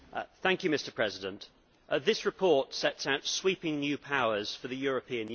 Mr President, this report sets out sweeping new powers for the European Union.